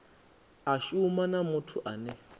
a shuma na muthu ane